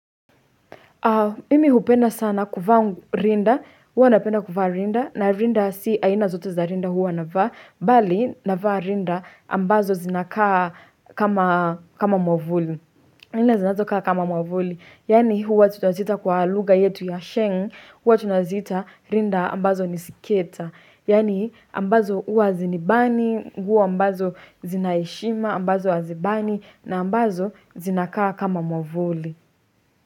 Mimi hupenda sana kuvaa rinda, huwa napenda kuvaa rinda, na rinda si aina zote za rinda huwa navaa, bali navaa rinda ambazo zinakaa kama mwavuli. Aina zinakaa kama mwavuli, yaani huwa tunazita kwa lugha yetu ya sheng, huwa tunazita rinda ambazo nisiketa, yani ambazo huwa hazinibani, nguo ambazo zinaheshima, ambazo hazibani, na ambazo zinakaa kama mwavuli.